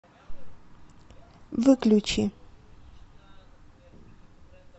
выключи